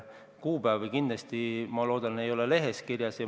Kuupäevi, ma loodan, ei ole lehes kirjas.